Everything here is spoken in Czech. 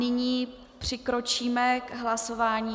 Nyní přikročíme k hlasování.